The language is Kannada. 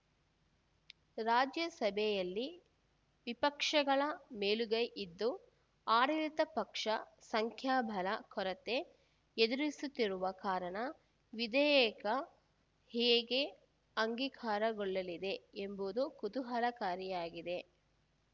ರಾಜ್ಯಸಭೆಯಲ್ಲಿ ವಿಪಕ್ಷಗಳ ಮೇಲುಗೈ ಇದ್ದು ಆಡಳಿತ ಪಕ್ಷ ಸಂಖ್ಯಾಬಲ ಕೊರತೆ ಎದುರಿಸ್ತುತಿರುವ ಕಾರಣ ವಿಧೇಯಕ ಹೇಗೆ ಅಂಗೀಕಾರಗೊಳ್ಳಲಿದೆ ಎಂಬುದು ಕುತೂಹಲಕಾರಿಯಾಗಿದೆ